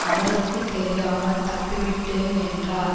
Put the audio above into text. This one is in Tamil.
அவருக்கு தெரியாமல் தப்பி விட்டேன் என்றார்